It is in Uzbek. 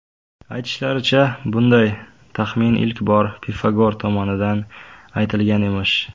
Aytishlaricha, bunday taxmin ilk bor Pifagor tomonidan aytilgan emish.